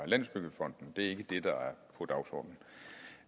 landsbyggefonden det er ikke det der